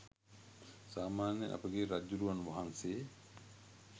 සාමාන්‍යයෙන් අපගේ රජ්ජුරුවන් වහන්සේ